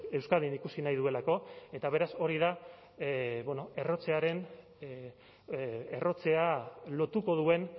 euskadin ikusi nahi duelako eta beraz hori da errotzea lotuko duen